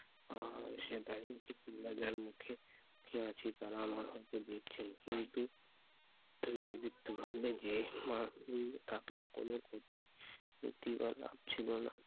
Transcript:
আহ সে দাঁড়িয়ে আছে তুল্লা গাঁয়ের মুখে, খেয়ে আছি তারা আমার হাতে দিচ্ছেন কিন্তু লাভ ছিল না